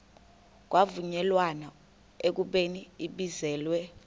kwavunyelwana ekubeni ibizelwe